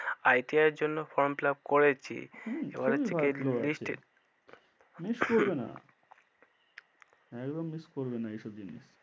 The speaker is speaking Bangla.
ITI এর জন্য form fill up করেছিহম খুবই ভাল এবার হচ্ছে কি list এ miss করবে না, একদম miss করবে না এই সব জিনিস,